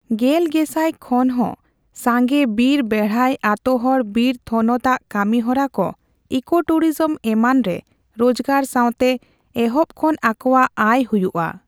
ᱜᱮᱞ ᱜᱮᱥᱟᱭ ᱠᱷᱚᱱᱦᱚᱸ ᱥᱟᱸᱜᱮ ᱵᱤᱨ ᱵᱮᱲᱦᱟᱭ ᱟᱛᱳᱦᱚᱲ ᱵᱤᱨ ᱛᱷᱚᱱᱚᱛ ᱟᱜ ᱠᱟᱹᱢᱤᱦᱚᱨᱟ ᱠᱚ, ᱤᱠᱳᱴᱩᱨᱤᱡᱚᱢ ᱮᱢᱟᱱ ᱨᱮ ᱨᱳᱡᱽᱜᱟᱨ ᱥᱟᱣᱛᱮ ᱮᱦᱚᱵ ᱠᱷᱚᱱ ᱟᱠᱚᱣᱟᱜ ᱟᱭ ᱦᱩᱭᱩᱜᱼᱟ᱾